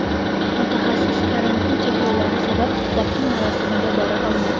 Mutaxassis karantin cheklovlari sabab dafn marosimiga bora olmadi.